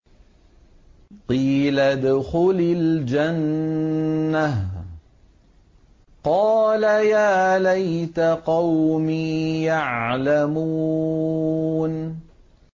قِيلَ ادْخُلِ الْجَنَّةَ ۖ قَالَ يَا لَيْتَ قَوْمِي يَعْلَمُونَ